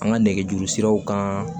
An ka nɛgɛjuru siraw kan